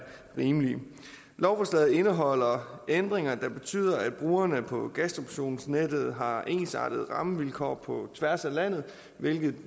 rimelige lovforslaget indeholder ændringer der betyder at brugerne på gasdistributionsnettet har ensartede rammevilkår på tværs af landet hvilket